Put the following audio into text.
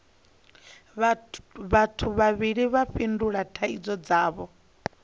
vhathu vhavhili vha tandulula thaidzo dzavho